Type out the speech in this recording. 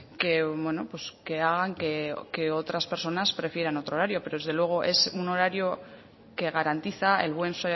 que bueno que hagan que otras personas prefieran otro horario pero desde luego es un horario que garantiza el buen